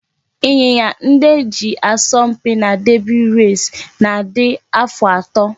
Ịnyịnya ndị e ji asọ mpi na derby race na-adị afọ atọ